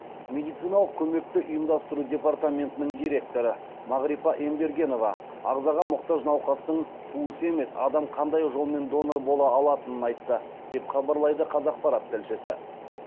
медициналық көмекті ұйымдастыру департаментінің директоры мағрипа ембергенова ағзаға мұқтаж науқастың туысы емес адам қандай жолмен донор бола алатынын айтты деп хабарлайды қазақпарат тілшісі